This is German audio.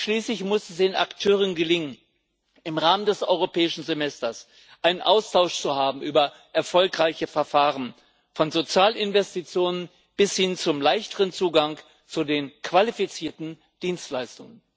Und schließlich muss es den Akteuren gelingen, im Rahmen des Europäischen Semesters einen Austausch über erfolgreiche Verfahren zu haben, von Sozialinvestitionen bis hin zum leichteren Zugang zu den qualifizierten Dienstleistungen.